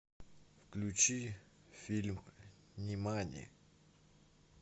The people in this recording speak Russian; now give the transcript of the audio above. включи фильм нимани